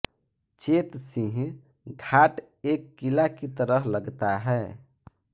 चेत सिंह घाट एक किला की तरह लगता है